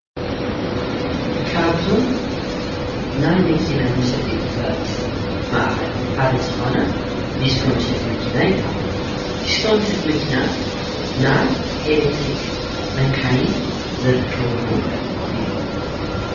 ካብዞም ናይ መኪና መሸጢ ቦታታት ማእኸል ሓደ ዝኾነ ዲስኮ መሸጢ መኪና ይበሃል። ዲስኮ መሸጢ መኪና ናይ ኤሌትሪኽ መካይን ዝርከብሉ እዩ።